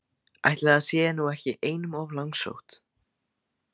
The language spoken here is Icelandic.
Ætli það sé nú ekki einum of langsótt!